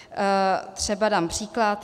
Třeba dám příklad.